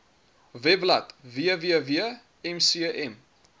webblad www mcm